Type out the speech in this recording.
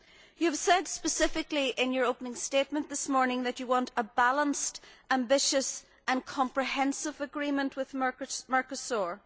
You said specifically in your opening statement this morning that you want a balanced, ambitious and comprehensive agreement with Mercosur.